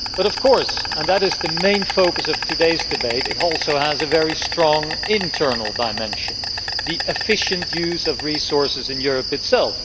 But of course and this is the main focus of today's debate resource efficiency also has a very strong internal dimension the efficient use of resources in Europe itself.